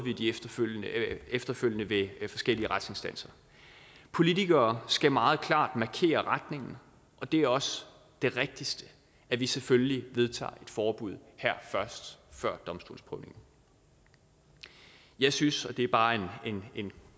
efterfølgende ved forskellige retsinstanser politikere skal meget klart markere retningen og det er også det rigtigste at vi selvfølgelig vedtager et forbud her først før domstolsprøvningen jeg synes og det er bare en